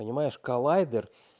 понимаешь коллайдер